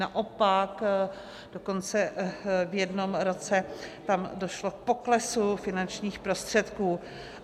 Naopak, dokonce v jednom roce tam došlo k poklesu finančních prostředků.